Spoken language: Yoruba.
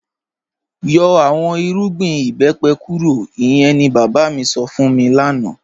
Yọ̀ awọn ìrùgbìn ìbẹ́pẹ̀ kúrò, ìyẹ̀n ni baba mi sọ́ fún mi lánà